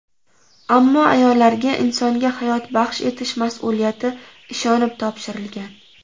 Ammo ayollarga insonga hayot baxsh etish mas’uliyati ishonib topshirilgan.